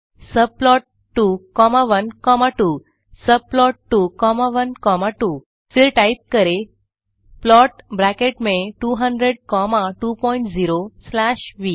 subplot 2 comma 1 comma 2 subplot 2 comma 1 comma 2 फिर type करें plot brackets में 200 कॉमा 20 स्लैश व